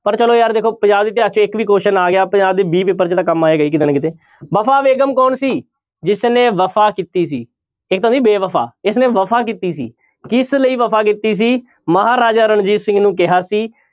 ਪਰ ਚਲੋ ਯਾਰ ਦੇਖੋ ਪੰਜਾਬ ਇਤਿਹਾਸ ਚੋਂ ਇੱਕ ਵੀ question ਆ ਗਿਆ ਪੰਜਾਬ ਦੇ b ਪੇਪਰ 'ਚ ਤਾਂ ਕੰਮ ਆਏਗਾ ਹੀ ਕਿਤੇ ਨਾ ਕਿਤੇ ਵਫ਼ਾ ਬੇਗ਼ਮ ਕੌਣ ਸੀ ਜਿਸਨੇ ਵਫ਼ਾ ਕੀਤੀ ਸੀ ਇੱਕ ਤਾਂ ਸੀ ਬੇਵਫ਼ਾ ਇਸਨੇ ਵਫ਼ਾ ਕੀਤੀ ਸੀ, ਕਿਸ ਲਈ ਵਫ਼ਾ ਕੀਤੀ ਸੀ ਮਹਾਰਾਜਾ ਰਣਜੀਤ ਸਿੰਘ ਨੂੰ ਕਿਹਾ ਸੀ